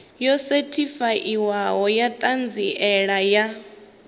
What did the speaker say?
yo sethifaiwaho ya ṱhanziela ya